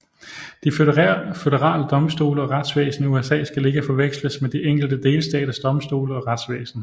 De føderale domstole og retsvæsen i USA skal ikke forveksles med de enkelte delstaters domstole og retsvæsen